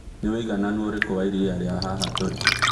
nĩ ũigananũ ũrĩkũ wa iria ria haha tũri